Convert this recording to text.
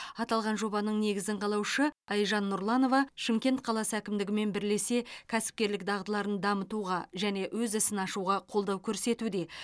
аталған жобаның негізін қалаушы айжан нұрланова шымкент қаласы әкімдігімен бірлесе кәсіпкерлік дағдыларын дамытуға және өз ісін ашуға қолдау көрсетуде